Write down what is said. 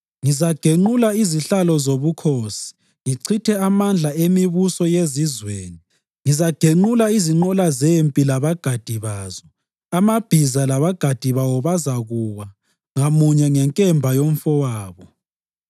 Ngizagenqula izihlalo zobukhosi ngichithe amandla emibuso yezizweni. Ngizagenqula izinqola zempi labagadi bazo; amabhiza labagadi bawo bazakuwa, ngamunye ngenkemba yomfowabo.